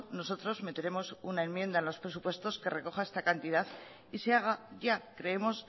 nosotros meteremos una enmienda en los presupuestos que recoja esta cantidad y se haga ya creemos